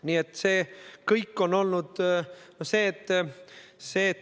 Nii et see kõik on olnud.